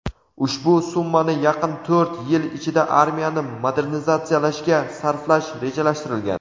ushbu summani yaqin to‘rt yil ichida armiyani modernizatsiyalashga sarflash rejalashtirilgan.